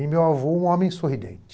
E meu avô, um homem sorridente.